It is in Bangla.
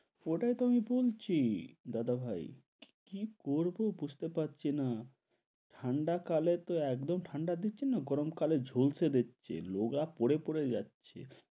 ওটাই তো আমি বলছি দাদা ভাই। কি করব বুঝতে পারছিনা ঠান্ডা কালে তো একদম ঠান্ডা দিচ্ছে না গরম কালে ঝলসে দিচ্ছে লোগা পুড়ে পুড়ে যাচ্ছে।